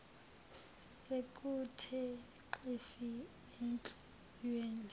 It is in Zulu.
sekuthe xhifi enhliziyweni